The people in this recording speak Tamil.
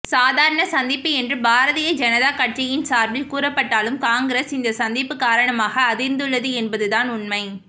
சாதாரண சந்திப்பு என்று பாரதிய ஜனதா கட்சியின் சார்பில் கூறப்பட்டாலும் காங்கிரஸ் இந்த சந்திப்பு காரணமாக அதிர்ந்துள்ளது என்பதுதான் உண்மை